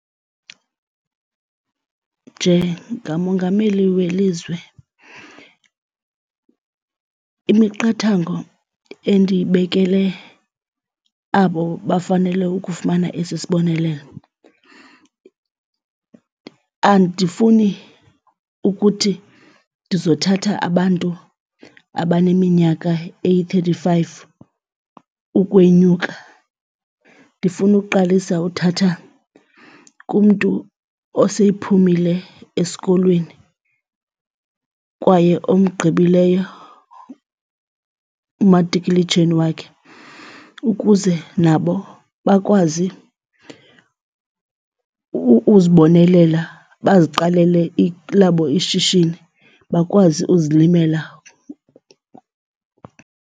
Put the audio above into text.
Njengamongameli welizwe, imiqathango endiyibekele abo bafanele ukufumana esi sibonelelo andifuni ukuthi ndizothatha abantu abaneminyaka eyi-thirty five ukwenyuka. Ndifuna ukuqalisa uthatha kumntu osephumile esikolweni kwaye omgqibileyo umatikuletsheni wakhe ukuze nabo bakwazi uzibonelela, baziqalele elabo ishishini bakwazi uzilimela.